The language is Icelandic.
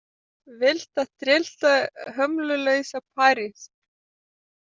Villta, tryllta, hömlulausa París.